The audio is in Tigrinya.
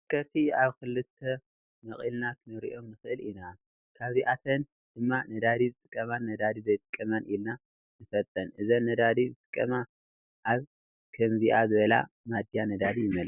ተሽከርከርቲ ኣብ ክልተ መቂልና ክንረኦም ንክአል ኢና። ካብዝኣተን ድማ ነዳዲ ዝጥቀማን ነዳዲ ዘይጥቀማን ኢልና ንፈልጠን። እዚን ነዳዲ ዝጥቀማ ኣብ ከምዚኣ ዝበላ ማድያ ነዳዲ ይመልኣ።